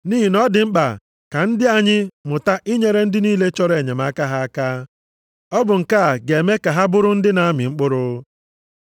Nʼihi na ọ dị mkpa ka ndị anyị mụta inyere ndị niile chọrọ enyemaka ha aka. Ọ bụ nke a ga-eme ka ha bụrụ ndị na-amị mkpụrụ.